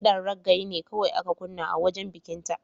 Ƙidan reggae ne kawai aka kunna a wajen bikinta.